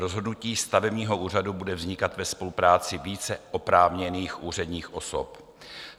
Rozhodnutí stavebního úřadu bude vznikat ve spolupráci více oprávněných úředních osob.